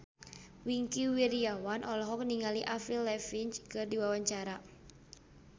Wingky Wiryawan olohok ningali Avril Lavigne keur diwawancara